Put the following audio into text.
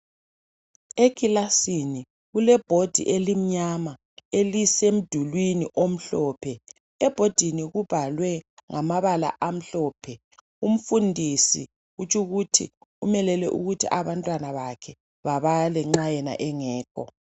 Ekilasini kulebhodi elimnyama, elisemdulwini omhlophe. Ebhodini kubhalwe ngamabala amhlophe. Umfundisi kutsho ukuthi umelele ukuthi abantwana bakhe babale nxa yena engekho.